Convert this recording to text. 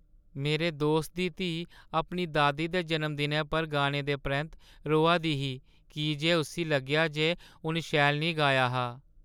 मेरे दोस्तै दी धीऽ अपनी दादी दे जनमदिनै पर गाने दे परैंत्त रोआ दी ही की जे उस्सी लग्गेआ जे उन शैल निं गाया हा।